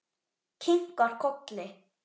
Kinkar kolli.